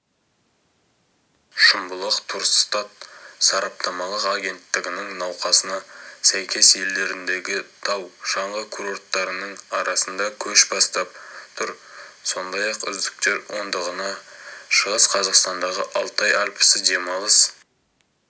шымбұлақ турстат сараптамалық агенттігінің нұсқасына сәйкес елдеріндегі тау-шаңғы курорттарының арасында көш бастап тұр сондай-ақ үздіктер ондығына шығыс қазақстандағы алтай альпісі демалыс